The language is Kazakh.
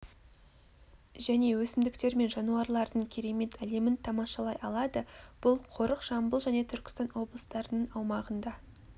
және өсімдіктер мен жануарлардың керемет әлемін тамашалай алады бұл қорық жамбыл және түркістан облыстарының аумағында